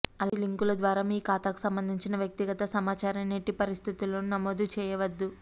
అలాంటి లింకుల ద్వారా మీ ఖాతాకు సంబంధించిన వ్యక్తిగత సమాచారాన్ని ఎట్టి పరిస్థితుల్లోనూ నమోదు చేయవద్దు